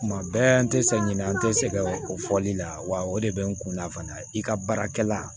Kuma bɛɛ an tɛ sɛ ɲinɛ an tɛ sɛgɛn o fɔli la wa o de bɛ n kunna fana i ka baarakɛla